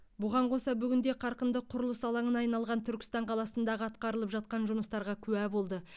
бұған қоса бүгінде қарқынды құрылыс алаңына айналған түркістан қаласындағы атқарылып жатқан жұмыстарға куә болды